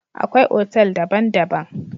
Akwai otal daban-daban.